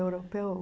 Europeu...